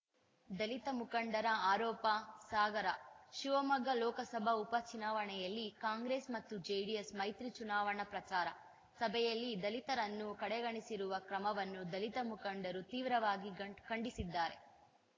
ದಲಿತ ಮುಖಂಡರ ಆರೋಪ ಸಾಗರ ಶಿವಮೊಗ್ಗ ಲೋಕಸಭಾ ಉಪ ಚುನಾವಣೆಯಲ್ಲಿ ಕಾಂಗ್ರೆಸ್‌ ಮತ್ತು ಜೆಡಿಎಸ್‌ ಮೈತ್ರಿ ಚುನಾವಣಾ ಪ್ರಚಾರ ಸಭೆಯಲ್ಲಿ ದಲಿತರನ್ನು ಕಡೆಗಣಿಸಿರುವ ಕ್ರಮವನ್ನು ದಲಿತ ಮುಖಂಡರು ತೀವ್ರವಾಗಿ ಖಂಡ್ ಖಂಡಿಸಿದ್ದಾರೆ